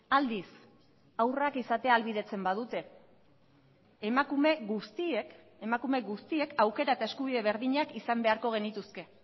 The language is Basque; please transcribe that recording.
aldiz haurrak izatea ahalbidetzen badute emakume guztiek emakume guztiek aukera eta eskubide berdinak izan beharko genituzke